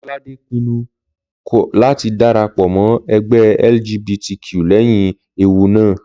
Lọ́ládé pinnu kọ̀ láti dára pọ̀ mọ́ ẹgbẹ́ LGBTQ lẹ́yìn ewu náà